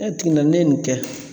Ne tigi na ne ye nin kɛ